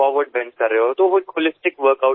તો આ એક સંપૂર્ણ કસરત હોલિસ્ટિક વર્ક આઉટ થઈ ગઈ